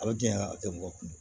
A bɛ diɲɛ mɔgɔ kun